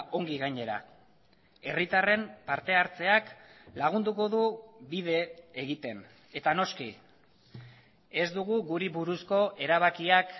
ongi gainera herritarren parte hartzeak lagunduko du bide egiten eta noski ez dugu guri buruzko erabakiak